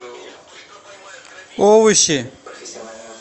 овощи